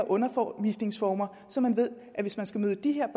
undervisningsformer så man ved at hvis man skal møde de her